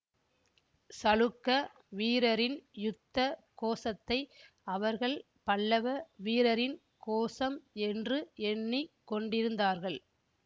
சளுக்க வீரரின் யுத்த கோஷத்தை அவர்கள் பல்லவ வீரரின் கோஷம் என்று எண்ணி கொண்டிருந்தார்கள்